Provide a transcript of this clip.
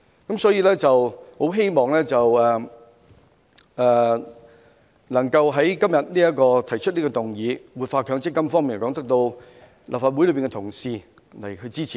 我很希望今天提出這項關於活化強積金的議案，能夠得到立法會內各位同事支持。